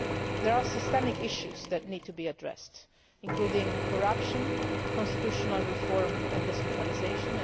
There are systemic issues that need to be addressed, including corruption, constitutional reform and decentralisation.